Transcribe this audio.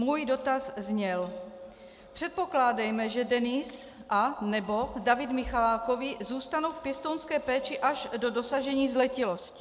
Můj dotaz zněl: Předpokládejme, že Denis anebo David Michalákovi zůstanou v pěstounské péči až do dosažení zletilosti.